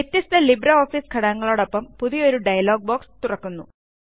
വ്യത്യസ്തLibreOfficeഘടകങ്ങളോടൊപ്പം പുതിയൊരു dialog box തുറക്കുന്നു